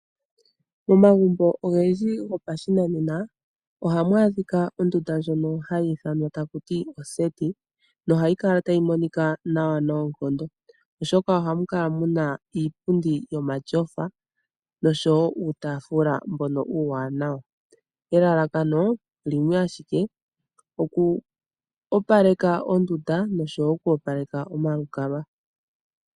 Momagumbo ogendji gopashinanena oha mu adhika ondunda ndjoka hayi ithanwa taku ti oseti na ohayi kala tayi monika nawa noonkondo. Oha mukala mu na iipundi yomatyofa nosho woo uutafula uuwaanawa. Elalakano limwe ashike ano lyo ku opaleka ondunda nosho woo olukalwa.